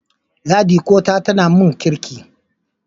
Yadiko ta tana mun Kirki.